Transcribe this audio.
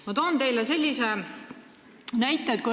Ma toon teile sellise näite.